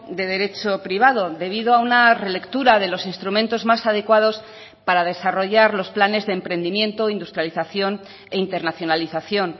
de derecho privado debido a una relectura de los instrumentos más adecuados para desarrollar los planes de emprendimiento industrialización e internacionalización